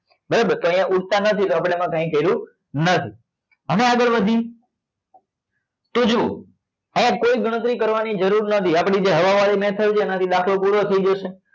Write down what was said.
બરોબર તો અહિયાં ઉડતા નથી તો એમાં અપડે કઈ કર્યું નથી હવે આગળ વધી તો જોવો આમાં કોઈ ગણતરી કરવા ની જરૂર નથી આપડી જે હવા વાળી થઇ છે એના થી દાખલો પૂરો થઇ જશે.